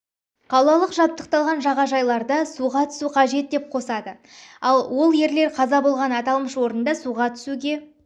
қалалық жабдықталған жағажайдарда суға түсу қажет деп қосады ол ерлер қаза болған аталмыш орында суға түсуге